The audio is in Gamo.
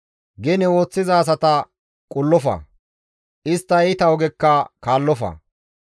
Gene ooththiza asata qullofa; istta iita ogekka kaallofa.